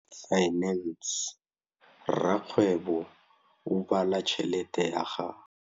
Rakgwêbô o bala tšheletê ya gagwe.